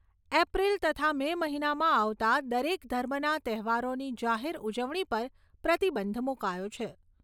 April તથા May મહિનામાં આવતા દરેક ધર્મના તહેવારોની જાહેર ઉજવણી પર પ્રતિબંધ મુકાયો છે.